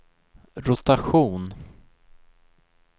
rotation